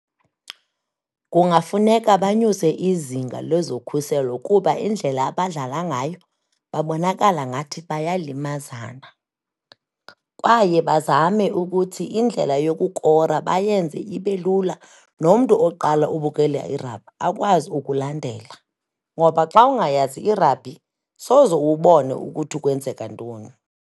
Kungafuneka banyuse izinga lezokhuselo kuba indlela abadlala ngayo, babonakala ngathi bayalimazana kwaye bazame ukuthi indlela yokukora bayenze ibe lula, nomntu oqala ubukela i-rugby akwazi ukulandela. Ngoba xa ungayazi i-rugby, soze ubone ukuthi kwenzeka ntoni.